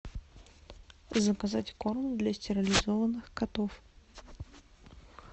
заказать корм для стерилизованных котов